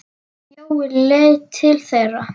Jói leit til þeirra.